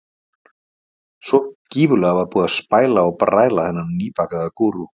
Svo gífurlega var búið að spæla og bræla þennan nýbakaða gúrú.